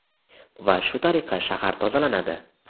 Va shu tariqa shahar tozalanadi.